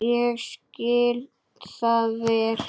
Ég skil það vel.